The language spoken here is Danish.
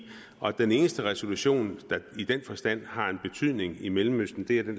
og den eneste resolution der i den forstand har en betydning i mellemøsten er den